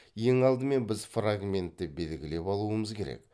ең алдымен біз фрагментті белгілеп алуымыз керек